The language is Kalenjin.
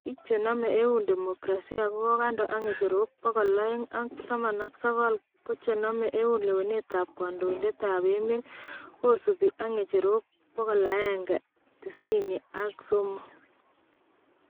Biik chename eun demokrasia konkandoo ak ng'echerok 219 ko chename eun lewenet ab kandoited ab emeet kosubuu ak ng'echerok 193